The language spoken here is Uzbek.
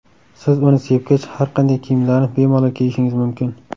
Siz uni sepgach, har qanday kiyimlarni bemalol kiyishingiz mumkin.